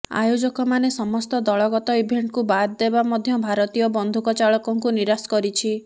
ଆୟୋଜକମାନେ ସମସ୍ତ ଦଳଗତ ଇଭେଣ୍ଟକୁ ବାଦ୍ ଦେବା ମଧ୍ୟ ଭାରତୀୟ ବନ୍ଧୁକଚାଳକଙ୍କୁ ନିରାଶ କରିଛି